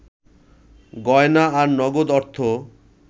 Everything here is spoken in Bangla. গয়না আর নগদ অর্থ